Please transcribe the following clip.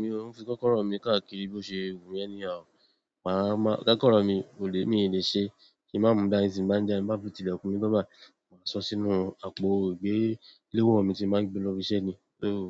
Mi òun fi kọ́kọ́rọ́ mi káàkiri bí ó ṣe wù mi anyhow. Màá máa, kọ́kọ́rọ́ mi kò lè mí lè ṣe kí màá mú dani ti n ba n jáde, ti m ba tun tilekun mi tan bayi, maa sọ sínú àpò ìgbé lewo mi tí màá gbé lóbi iṣẹ́ ni. Óòo,